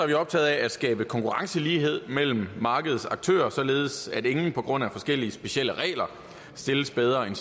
vi optaget af at skabe konkurrencelighed mellem markedets aktører således at ingen på grund af forskellige specielle regler stilles bedre end